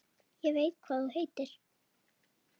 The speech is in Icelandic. Ég veit hvað þú heitir.